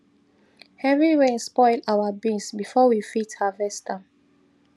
heavy rain spoil our beans before we fit harvest am